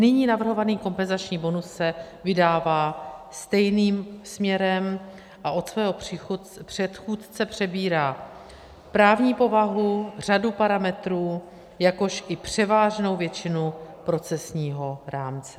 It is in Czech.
Nyní navrhovaný kompenzační bonus se vydává stejným směrem a od svého předchůdce přebírá právní povahu, řadu parametrů, jakož i převážnou většinu procesního rámce.